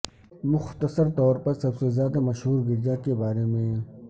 مختصر طور پر سب سے زیادہ مشہور گرجا کے بارے میں